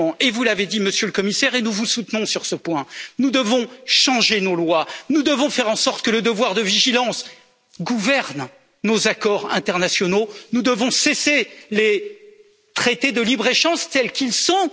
Vous l'avez dit, Monsieur le Commissaire, et nous vous soutenons sur ce point, nous devons immédiatement changer nos lois, nous devons faire en sorte que le devoir de vigilance gouverne nos accords internationaux, nous devons cesser les traités de libre échange, tels qu'ils sont.